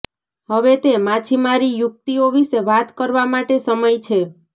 હવે તે માછીમારી યુકિતઓ વિશે વાત કરવા માટે સમય છે